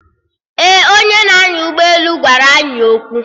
Ee, onye na-anya ụgbọelu gwara anyị okwu